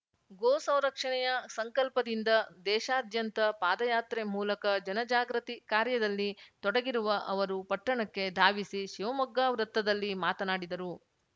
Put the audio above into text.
ಗೋಸಂರಕ್ಷಣೆಯ ಸಂಕಲ್ಪದಿಂದ ದೇಶಾದ್ಯಂತ ಪಾದಯಾತ್ರೆ ಮೂಲಕ ಜನಜಾಗೃತಿ ಕಾರ್ಯದಲ್ಲಿ ತೊಡಗಿರುವ ಅವರು ಪಟ್ಟಣಕ್ಕೆ ಧಾವಿಸಿ ಶಿವಮೊಗ್ಗ ವೃತ್ತದಲ್ಲಿ ಮಾತನಾಡಿದರು